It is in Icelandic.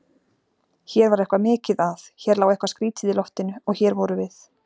Hér var eitthvað mikið að, hér lá eitthvað skrýtið í loftinu- og hér vorum við.